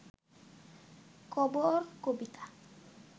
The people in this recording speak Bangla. কবর কবিতা